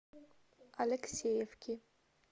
алексеевки